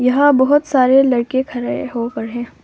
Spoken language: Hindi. यहां बहुत सारे लड़के खड़े होकर है